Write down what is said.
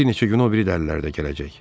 Bir neçə gün o biri də əllərdə gələcək.